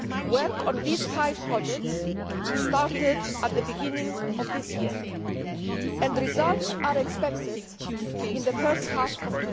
Work on these five projects started at the beginning of 2013, and results are expected in the first half of